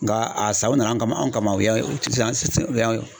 Nga a san u nana an kama anw kama u y'an